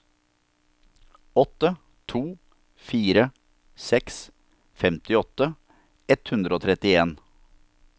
åtte to fire seks femtiåtte ett hundre og trettien